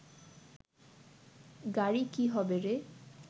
গাড়ি কি হবে রে